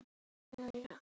Þinn, Baldur Breki.